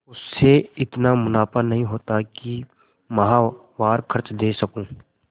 उससे इतना मुनाफा नहीं होता है कि माहवार खर्च दे सकूँ